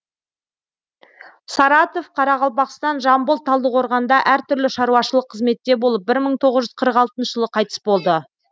саратов қарақалпақстан жамбыл талдықорғанда әр түрлі шаруашылық қызметте болып бір мың тоғыз жүз қырық алтыншы жылы қайтыс болды